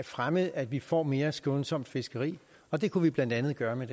fremme at vi får mere skånsomt fiskeri og det kunne man blandt andet gøre ved